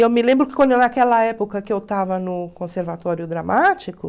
E eu me lembro que quando naquela época que eu estava no conservatório dramático...